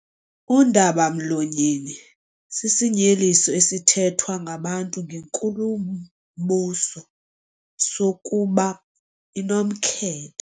Undaba-mlonyeni sisinyeliso esithethwa ngabantu ngenkulumbuso sokuba inomkhethe.